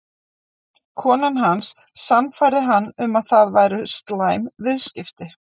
Konan hans sannfærði hann um að það væru slæm viðskipti.